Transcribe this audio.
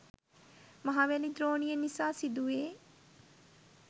මහවැලි ද්‍රෝණිය නිසා සිදුවේ